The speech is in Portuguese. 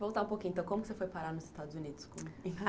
Voltar um pouquinho, então, como que você foi parar nos Estados Unidos?